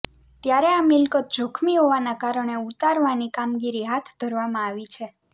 ત્યારે આ મિલકત જોખમી હોવાના કારણે ઉતારવાની કામગીરી હાથ ધરવામાં આવી છે